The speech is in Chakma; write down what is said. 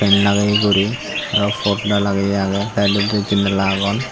lageye guri aro porda lageye agey saidodi janala agon.